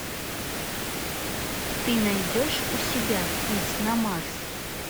ты найдешь у себя путь на марс